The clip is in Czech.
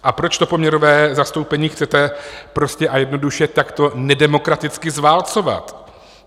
A proč to poměrové zastoupení chcete prostě a jednoduše takto nedemokraticky zválcovat?